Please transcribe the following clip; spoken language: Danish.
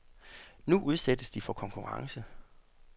Nu udsættes de for konkurrence.